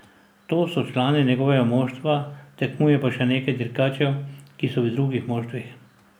Ti so člani njegovega moštva, tekmuje pa še nekaj dirkačev, ki so v drugih moštvih.